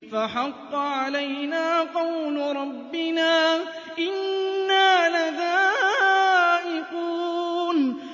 فَحَقَّ عَلَيْنَا قَوْلُ رَبِّنَا ۖ إِنَّا لَذَائِقُونَ